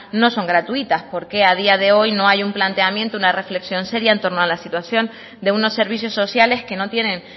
no son gratuitas por qué a día de hoy no hay un planteamiento una reflexión seria en torno a la situación de unos servicios sociales que no tienen